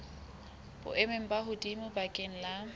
boemong bo hodimo bakeng la